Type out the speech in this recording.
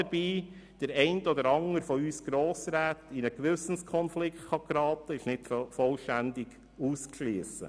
Dass der eine oder der andere Grossrat dadurch in einen Gewissenskonflikt gerät, ist nicht vollständig auszuschliessen.